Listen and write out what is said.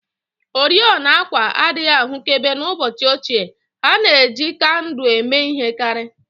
Oriọna àkwà adịghị ahụkebe n'ụbọchị ochie, ha na-eji kandụl eme ihe karị